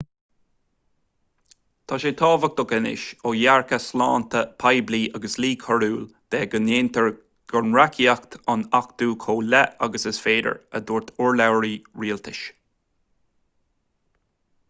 tá sé tábhachtach anois ó dhearcadh sláinte poiblí agus dlí coiriúil de go ndéantar an reachtaíocht a achtú chomh luath agus is féidir a dúirt urlabhraí rialtais